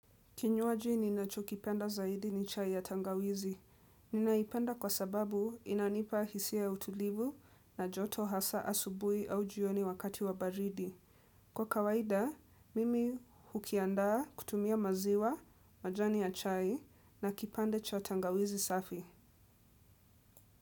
Kinywaji ninachokipenda zaidi ni chai ya tangawizi. Ninaipenda kwa sababu inanipa hisia ya utulivu na joto hasa asubuhi au jioni wakati wa baridi. Kwa kawaida, mimi hukiandaa kutumia maziwa, majani ya chai na kipande cha tangawizi safi.